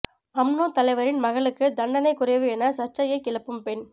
UMNO தலைவரின் மகளுக்கு தண்டனை குறைவு என சர்ச்சையைக் கிளப்பும் பெண்